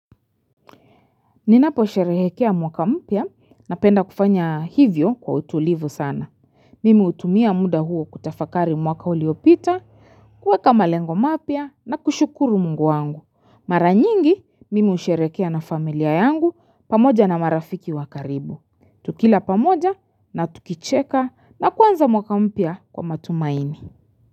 Ninaposherehekea mwaka mpya napenda kufanya hivyo kwa utulivu sana. Mimi hutumia muda huo kutafakari mwaka uliopita, kuweka malengo mapya na kushukuru mungu wangu. Mara nyingi, mimi husherehekea na familia yangu pamoja na marafiki wa karibu. Tukila pamoja na tukicheka na kuanza mwaka mpya kwa matumaini.